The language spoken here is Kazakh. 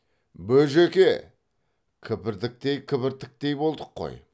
бөжеке кібіртіктей кібіртіктей болдық қой